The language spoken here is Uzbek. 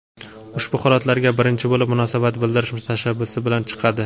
ushbu holatlarga birinchi bo‘lib munosabat bildirish tashabbusi bilan chiqadi.